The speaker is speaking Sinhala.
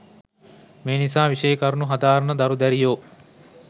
මේ නිසා විෂය කරුණු හදාරන දරු දැරියෝ